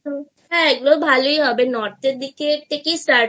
এগুলো ভালোই হবে North এর দিকে Start করা